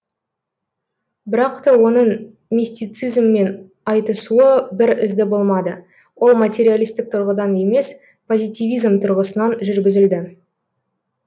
бірақ та оның мистицизммен айтысуы бір ізді болмады ол материалистік тұрғыдан емес позитивизм тұрғысынан жүргізілді